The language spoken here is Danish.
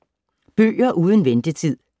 Bøger uden ventetid